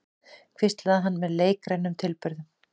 hvíslaði hann með leikrænum tilburðum.